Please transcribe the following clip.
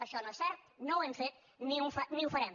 això no és cert no ho hem fet ni ho farem